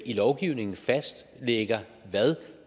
i lovgivningen fastlægger hvad